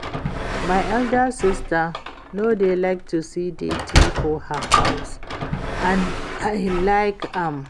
My elder sister no dey like to see dirty for her house and I like am